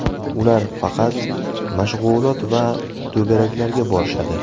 Ular faqat mashg‘ulot va to‘garaklarga borishadi”.